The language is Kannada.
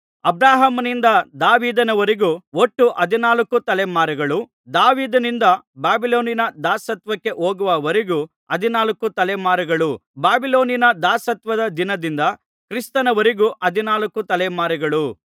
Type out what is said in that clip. ಅಬ್ರಹಾಮನಿಂದ ದಾವೀದನ ವರೆಗೂ ಒಟ್ಟು ಹದಿನಾಲ್ಕು ತಲೆಮಾರುಗಳು ದಾವೀದನಿಂದ ಬಾಬಿಲೋನಿನ ದಾಸತ್ವಕ್ಕೆ ಹೋಗುವವರೆಗೂ ಹದಿನಾಲ್ಕು ತಲೆಮಾರುಗಳು ಬಾಬಿಲೋನಿನ ದಾಸತ್ವದ ದಿನದಿಂದ ಕ್ರಿಸ್ತನವರೆಗೆ ಹದಿನಾಲ್ಕು ತಲೆಮಾರುಗಳು